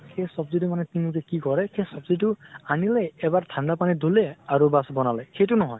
সেই চব্জি টো মানে কিনোতে কি কৰে, সেই চব্জি টো আনিলে, এবাৰ ঠান্দা পানীত ধুলে আৰু বাচ বনালে। সেই টো নহয়।